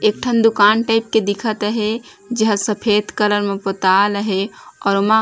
एक ठन दुकान टाइप के दिखत हेय जे मा सफेद कलर में पोताल हेय अउ ओमा --